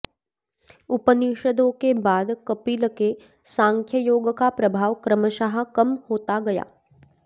उपनिषदों के बाद कपिल के सांख्ययोग का प्रभाव क्रमशः कम होता गया